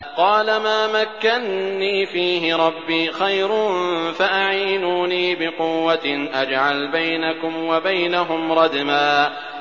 قَالَ مَا مَكَّنِّي فِيهِ رَبِّي خَيْرٌ فَأَعِينُونِي بِقُوَّةٍ أَجْعَلْ بَيْنَكُمْ وَبَيْنَهُمْ رَدْمًا